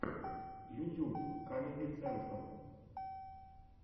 ютюб камеди централ